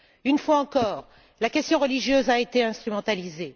Une fois encore, la question religieuse a été instrumentalisée.